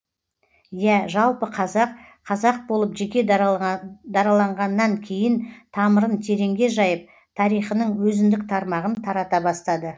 иә жалпы қазақ қазақ болып жеке дараланғаннан кейін тамырын тереңге жайып тарихының өзіндік тармағын тарата бастады